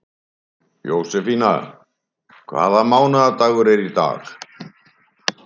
Jósefína, hvaða mánaðardagur er í dag?